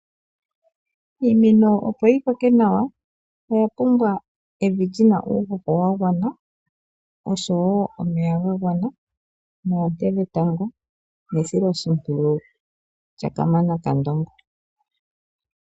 Iimeno opo yi koke nawa oya pumbwa evi lyina uuhoho wa gwana oshowo omeya ga gwana neailoshipwiyu lyakamana kandongo.